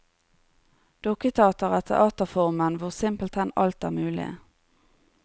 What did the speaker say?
Dukketeater er teaterformen hvor simpelthen alt er mulig.